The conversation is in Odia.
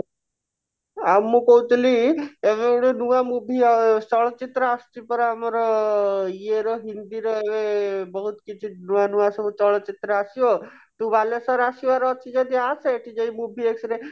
ଆଉ ମୁଁ କହୁଥିଲି ଏବେ ଗୋଟେ ନୂଆ movie ଆ ଚଳଚିତ୍ର ଆସୁଛି ପରା ଆମର ଇଏ ର ହିନ୍ଦୀ ର ଏବେ ବହୁତ କିଛି ନୂଆ ନୂଆ ସବୁ ଚଳଚିତ୍ର ଆସିବ ତୁ ବାଲେଶ୍ଵର ଆସିବାର ଅଛି ଯଦି ଆସେ ଏଠି ଯାଇ movie x ରେ